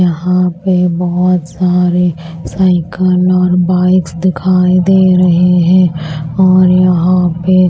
यहां पे बहुत सारे साइकिल और बाइक्स दिखाई दे रहे हैं और यहां पे--